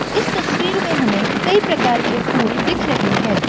इस तस्वीर में हमें कई प्रकार के फूल दिख रहे है।